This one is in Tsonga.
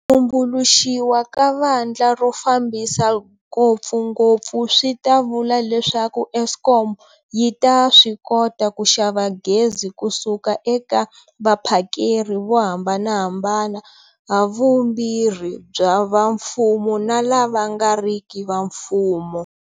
Tumbuluxiwa ka vandla ro fambisa ngopfungopfu swi ta vula leswaku Eskom yi ta swi kota ku xava gezi kusuka eka vaphakeri vo hambanahambana, havumbirhi bya va mfumo na lava nga riki va mfumo.